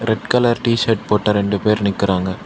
Red colour T shirt போட்ட ரெண்டு பேர் நிக்கறாங்க.